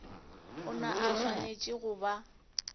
ona a swanetše go ba